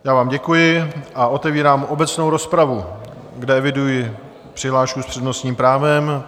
Já vám děkuji a otevírám obecnou rozpravu, kde eviduji přihlášku s přednostním právem.